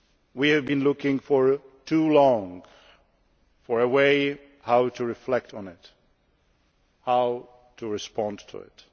We have been looking for too long for a way to reflect on this and to respond to it.